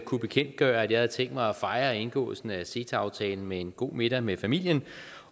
kunne bekendtgøre at jeg havde tænkt mig at fejre indgåelsen af ceta aftalen med en god middag med familien